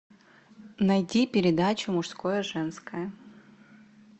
найди передачу мужское женское